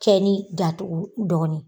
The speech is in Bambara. Cɛ ni datugu dɔɔnin